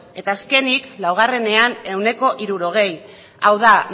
eta azkenik laugarrenean ehuneko hirurogei hau da